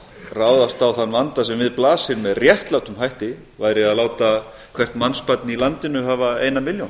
ráðast á þann vanda sem við blasir með réttlátum hætti væri að láta hvert mannsbarn í landinu hafa eina milljón